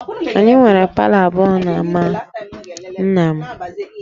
Anyị nwere palọ abụọ n'ámá nna m